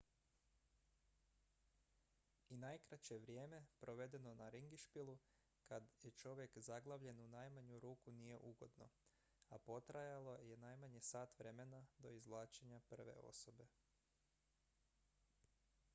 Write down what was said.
i najkraće vrijeme provedeno na ringišpilu kad je čovjek zaglavljen u najmanju ruku nije ugodno a potrajalo je najmanje sat vremena do izvlačenja prve osobe